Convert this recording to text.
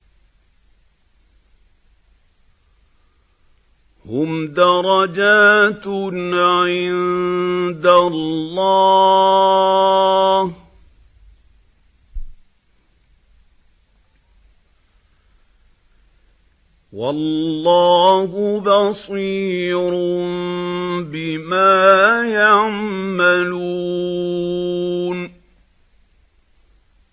هُمْ دَرَجَاتٌ عِندَ اللَّهِ ۗ وَاللَّهُ بَصِيرٌ بِمَا يَعْمَلُونَ